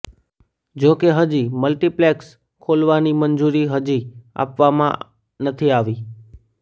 જોકે હજી મલ્ટિપ્લેક્સ ખોલવાની મંજૂરી હજી આપવામાં નથી આવી